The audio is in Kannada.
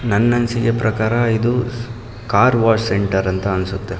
ನನ್ನ ಅನಿಸಿಕೆ ಪ್ರಕಾರ ಇದು ಕಾರ್ ವಾಶ್ ಸೆಂಟರ್ ಅಂತ ಅನ್ಸುತ್ತೆ.